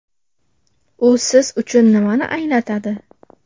U siz uchun nimani anglatadi?